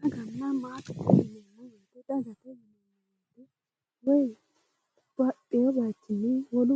Daganna Maatete yineemmo woyite babbaxxino bayichinni wolu